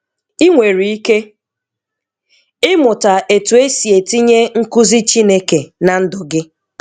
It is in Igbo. I nwere ike ịmụta etu e si etinye nkuzi Chineke na ndụ gị.